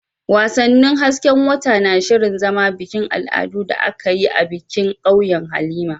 Wasannin hasken wata na shirin zama bikin al'adu da aka yi bikin a ƙauyen Halima.